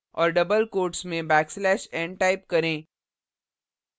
और double quotes double comma में backslash nटाइप करें